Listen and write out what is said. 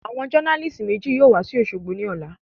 Àwọn jọ́nálìsì méjì yóò wa sí òṣogbo ní ọ̀la